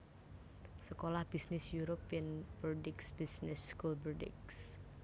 Sekolah bisnis European Bordeaux Business School Bordeaux